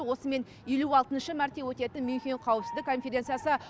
осымен елу алтыншы мәрте өтетін мюнхен қауіпсіздік конференциясы